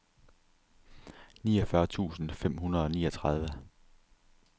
niogfyrre tusind fem hundrede og niogtredive